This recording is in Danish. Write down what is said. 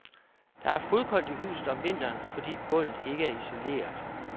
Der er fodkoldt i huset om vinteren, fordi gulvet ikke er isoleret.